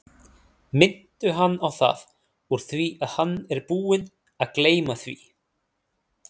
Minntu hann á það úr því að hann er búinn að gleyma því.